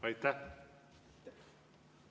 Aitäh!